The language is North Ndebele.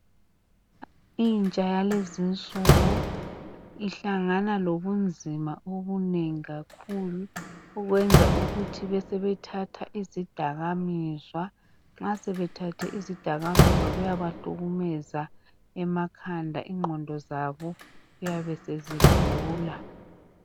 Intsha yalezi nsuku ihlangana lobunzima obunengi kakhulu okwenza ukuthi besebe thatha izidaka mizwa . Nxa sebethethe izidakamizwa kuyaba hlukumeza emakhanda ingqondo zabo kuyabe sezigula .